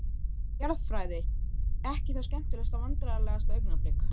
Jarðfræði, ekki það skemmtilegasta Vandræðalegasta augnablik?